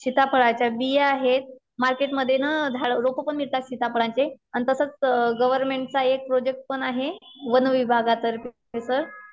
सीताफळाच्या बिया आहेत. मार्केटमध्ये ना झाड, रोप पण मिळतात सीताफळाचे अन तसच गवर्नमेंटचा एक प्रोजेक्ट पण आहे वन विभागातर्फे सर.